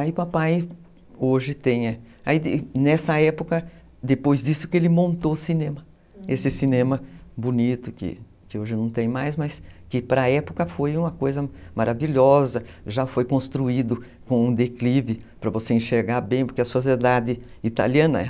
Aí o papai hoje tem, nessa época, depois disso que ele montou o cinema, esse cinema bonito que hoje não tem mais, mas que para a época foi uma coisa maravilhosa, já foi construído com um declive para você enxergar bem, porque a sociedade italiana,